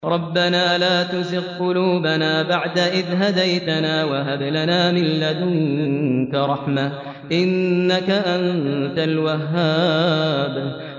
رَبَّنَا لَا تُزِغْ قُلُوبَنَا بَعْدَ إِذْ هَدَيْتَنَا وَهَبْ لَنَا مِن لَّدُنكَ رَحْمَةً ۚ إِنَّكَ أَنتَ الْوَهَّابُ